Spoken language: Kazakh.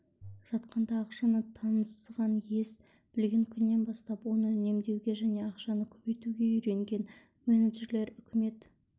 жатқанда ақшаны таныған ес білген күннен бастап оны үнемдеуге және ақшаны көбейтуге үйренген менеджерлер үкімет